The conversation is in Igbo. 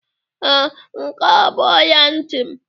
Ee, nke a bụ ọla ntị m.